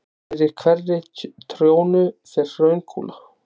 Fyrir hverri trjónu fer hraunkúla.